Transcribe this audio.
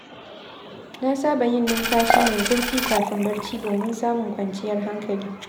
Na saba yin numfashi mai zurfi kafin barci domin samun kwanciyar hankali.